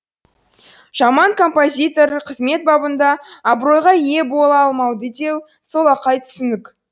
жаман композитор қызмет бабында абыройға ие бола алмайды деу солақай түсінік